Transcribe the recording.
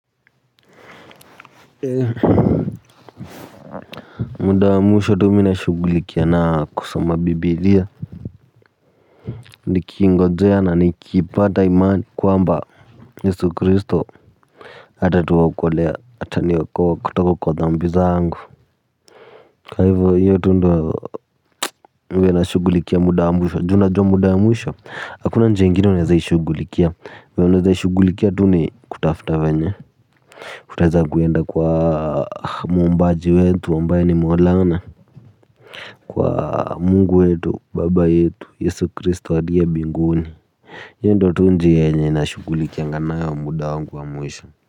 Muda wa mwisho tu mi nashughulikia na kusoma bibilia nikingojea na nikipata imani kwamba yesu kristo atatuokolea, ataniokoa kutoka kwa dhambi zangu kwa hivyo hiyo tu ndio huwa nashughulikia muda wa mwisho, ju unajua muda wa mwisho hakuna njia ingine unawezaishughulikia, venye unawezaishughulikia tu ni kutafuta venye kutaweza kuenda kwa muumbaji wetu ambaye ni Maulana. Kwa Mungu wetu, baba yetu, yesu kristo aliye binguni. Hiyo tu ndio njia yenye nashughulikianga nayo muda wangu wa mwisho.